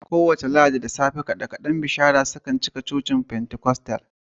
Kowace ranar Lahadi da safe, kaɗe-kaɗe na bishara suna cika iska a kewayen cocin Pentikostal.